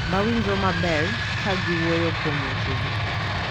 Ma winjo maber ka giwuoyo kuom wechegi,